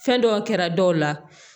Fɛn dɔw kɛra dɔw la